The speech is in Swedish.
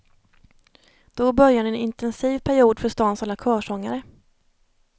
Då börjar en intensiv period för stans alla körsångare.